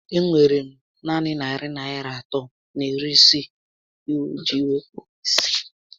E nwere m naanị narị Naịra iri atọ na iri iji wéé kpaa isi